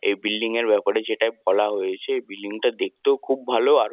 এই বিল্ডিং -এর ব্যাপারে যেটায় বলা হয়েছে এই বিল্ডিং -টা দেখতেও খুব ভালো আর--